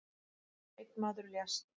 Einn maður lést